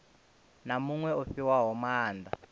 na muṅwe o fhiwaho maanda